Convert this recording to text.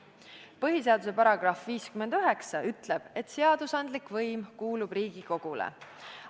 Põhiseaduse § 59 ütleb, et seadusandlik võim kuulub Riigikogule.